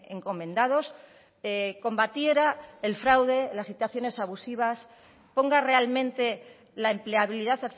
encomendados combatiera el fraude las situaciones abusivas ponga realmente la empleabilidad